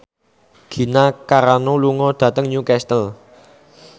Gina Carano lunga dhateng Newcastle